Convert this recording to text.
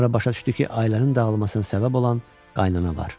Sonra başa düşdü ki, ailənin dağılmasına səbəb olan qaynana var.